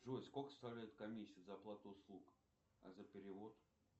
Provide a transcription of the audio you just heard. джой сколько составляет комиссия за оплату услуг а за перевод